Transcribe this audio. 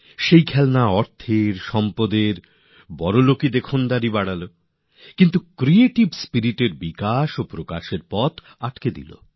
এই খেলনা তো ধন সম্পত্তি আর সামান্য বড় বড় ভাব দেখিয়ে ওই শিশুর সৃষ্টিশীল মন সৃজনশীল ভাবনা বেড়ে ওঠা পরিপক্ক হয়ে ওঠাকে আটকে দিল